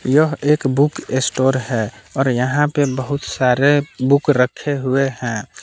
यह एक book store है और यहां पे बहुत सारे बुक रखे हुए हैं।